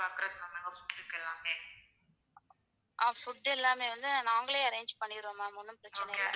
Food எல்லாமே நாங்களே வந்து arrange பண்ணிருவோம் ma'am ஒண்ணும் பிரச்சனை இல்ல.